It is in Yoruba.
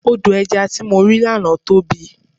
Odò ẹja tí mo rí lánàá tóbi.